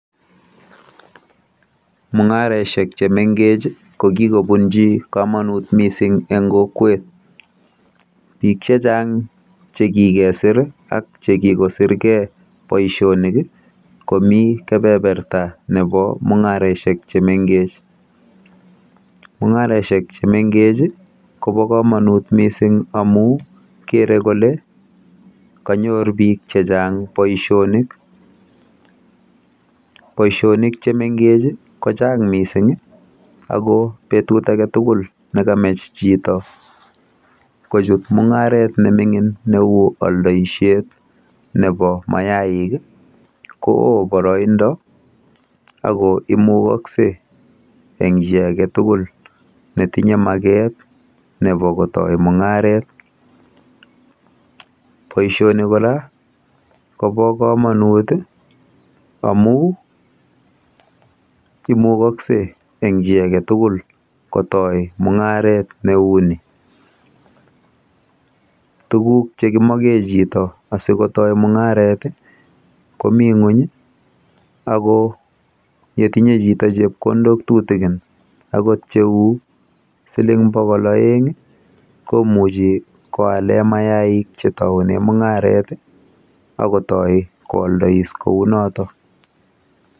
Mung'areshek chemengech ko kikobunchi komonut mising eng kokwet, biuik chechang chekikesir ak chekikosirgei boishonik komi kepeperta nepo mung'areshek chemengech. Chemengech kopo komonut mising amu kere kole kanyor biik chechang boishonik. Boishonik chemengech kochang mising ako betut aketugul nekamech chito kochut mung'aret nemining neu aldoishet nepo mayaik koo boroindo ako imukokse eng chi aketugul netinye maket nepo kotoi mung'aret. Boishoni kora kopo komonut amu imukoksei eng chi aketugul kotoi mung'aret neu ni. Tuguk chekimoke chito asikotoi mung'aret komi ng'uny ako yetinye chito chepkondok tutikin akot cheu siling bokol oeng komuchi koale mayaik chetoune mung'aret akotoi koaldois kounoto.